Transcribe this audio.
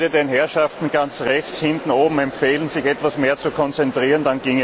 Ich würde den Herrschaften ganz rechts hinten oben empfehlen, sich etwas mehr zu konzentrieren.